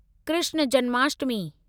Krishna Janmashtami